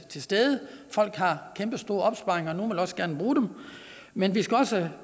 til stede folk har kæmpestore opsparinger og nogle vil også gerne bruge dem men vi skal også